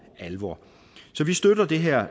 alvor så vi støtter det her